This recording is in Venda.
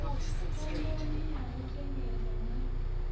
khomboni ya u shengedzwa na